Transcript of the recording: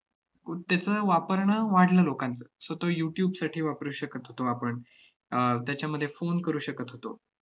तेचं वापरणं वाढलं लोकांचं. so तो youtube साठी वापरू शकत होतो आपण, अह त्याच्यामध्ये phone करू शकत होतो.